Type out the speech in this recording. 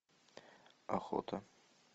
охота